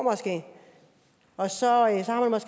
og så